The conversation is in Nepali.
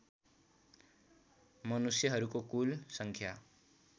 मनुष्यहरूको कुल सङ्ख्या